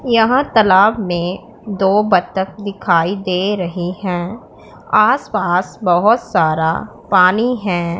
यहां तालाब में दो बत्तख दिखाई दे रही हैं आसपास बहोत सारा पानी है।